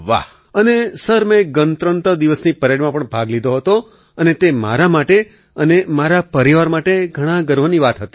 અખિલ અને સર મેં ગણતંત્ર દિવસની પરેડમાં પણ ભાગ લીધો હતો અને તે મારા માટે અને મારા પરિવાર માટે ઘણા ગર્વની વાત હતી